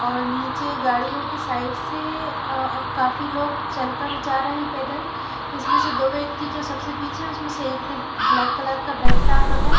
और नीचे गाड़ियो की साइड से अ काफी लोग चल कर जा रहे है पैदल जिसमे से दो व्यक्ति जो सबसे पीछे है उसमे से एक ने ब्लैक कलर का बेग टांग रखा है।